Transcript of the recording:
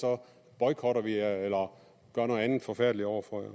boykotter vi jer eller gør noget andet forfærdeligt over for